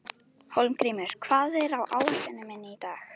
Hólmgrímur, hvað er á áætluninni minni í dag?